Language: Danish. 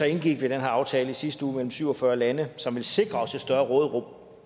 indgik vi den her aftale i sidste uge mellem syv og fyrre lande som vil sikre os et større råderum